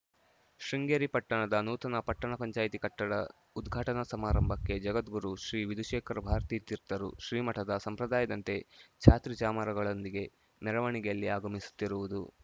ಶೃಂಗೇರಿ ಪಟ್ಟಣದ ನೂತನ ಪಟ್ಟಣ ಪಂಚಾಯಿತಿ ಕಟ್ಟಡ ಉದ್ಘಾಟನಾ ಸಮಾರಂಭಕ್ಕೆ ಜಗದ್ಗುರು ಶ್ರೀ ವಿಧುಶೇಖರ ಭಾರತೀ ತೀರ್ಥರು ಶ್ರೀ ಮಠದ ಸಂಪ್ರದಾಯದಂತೆ ಛತ್ರಿಚಾಮರಗಳೊಂದಿಗೆ ಮೆರವಣಿಗೆಯಲ್ಲಿ ಆಗಮಿಸುತ್ತಿರುವುದು